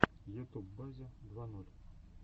ютуб базя два ноль